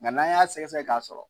Nga n'an y'a sɛgɛsɛgɛ k'a sɔrɔ.